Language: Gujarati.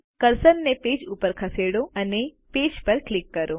કર્સરને પેજ ઉપર ખસેડો અને પેજ પર ક્લિક કરો